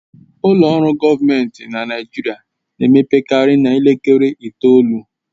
Ụlọ ọrụ gọọmentị na Naijiria na-emepekarị n'elekere itoolu